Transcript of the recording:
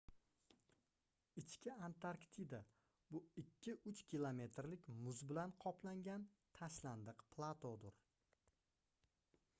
ichki antarktida bu 2-3 kilometrlik muz bilan qoplangan tashlandiq platodir